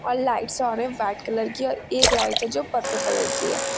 और lights on है white colour की और एक लाइट है जो पर्पल कलर की है।